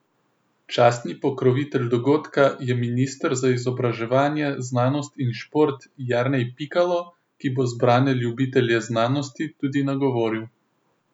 Častni pokrovitelj dogodka je minister za izobraževanje, znanost in šport Jernej Pikalo, ki bo zbrane ljubitelje znanosti tudi nagovoril.